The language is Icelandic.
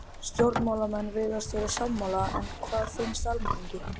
Stjórnmálamenn virðast sammála en hvað finnst almenningi?